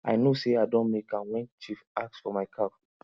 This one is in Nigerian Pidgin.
i know say i don make am when chief ask for my cow